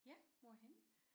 Ja hvorhenne?